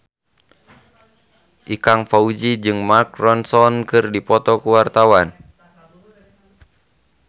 Ikang Fawzi jeung Mark Ronson keur dipoto ku wartawan